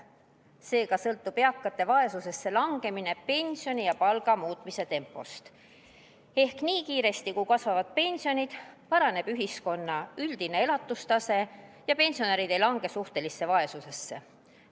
Seega sõltub eakate vaesusesse langemine pensioni ja palga muutmise tempost: nii kiiresti, kui kasvavad pensionid, paraneb ühiskonna üldine elatustase ja pensionärid ei lange suhtelisse vaesusesse.